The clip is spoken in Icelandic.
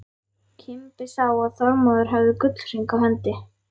Kimbi sá að Þormóður hafði gullhring á hendi.